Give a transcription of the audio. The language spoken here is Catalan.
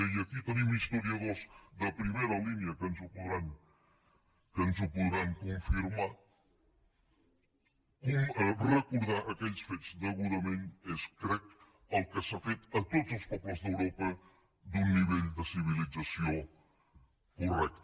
i aquí tenim historiadors de primera línia que ens ho podran confirmar recordar aquells fets degudament és ho crec el que s’ha fet a tots els pobles d’europa d’un nivell de civilització correcta